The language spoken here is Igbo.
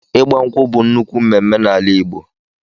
ịgbankwụ bú nnukwu mmemme na ala Ìgbo.